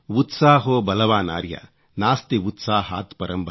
उत्साहो बलवानार्य नास्त्युत्साहात्परं बलम् |